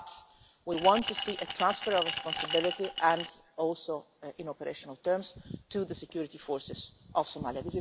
But we want to see a transfer of responsibility, including in operational terms, to the security forces of Somalia.